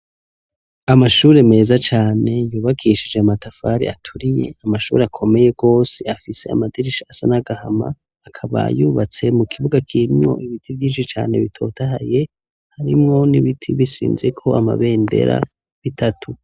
amashuri meza cane yubakishije amatafari aturiye, amashuri akomeye gose afise amadirisha asa n'agahama akaba yubatse mu kibuga kirimwo ibiti vyinshi cane bitotahaye harimwo n'ibiti bishinzeko amabendera bitatu.